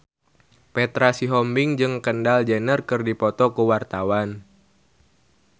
Petra Sihombing jeung Kendall Jenner keur dipoto ku wartawan